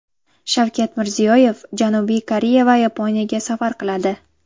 Shavkat Mirziyoyev Janubiy Koreya va Yaponiyaga safar qiladi.